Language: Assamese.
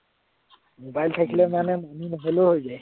mobile থাকিলে মানে মানুহ নহলেও হৈ যায়।